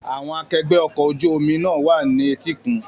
Àwọn akẹgbẹ́ ọkọ̀ ojú omi náà wà ní etíkun.